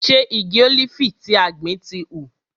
Ṣe igi ólífì tí a gbìn ti hù?